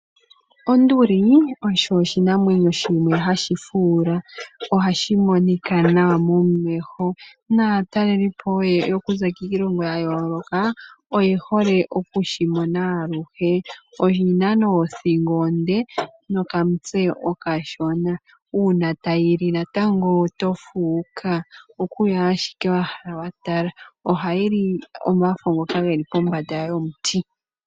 Onduli oyo oshinamwenyo shimwe hashi fuula. Ohashi monika nwa momeho naatalelipo yeya okuza kiilongo yayooloka oye hole okushi mona aluhe. Oshina nee othigo onde nokamutse okashona. Una tayi li natango oto fuuka oku yo ashike wa hala ku tala. Ohayi li omafo ngoka geli pombanda yomuti.